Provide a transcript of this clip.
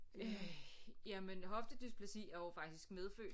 Øh jamen hoftedysplasi er jo faktisk medfødt